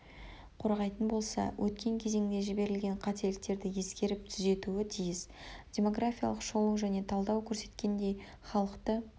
қорғайтын болса өткен кезеңде жіберілген қателіктерді ескеріп түзетуі тиіс демографиялық шолу және талдау көрсеткендей халықты